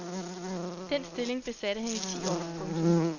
Den stilling besatte han i ti år. punktum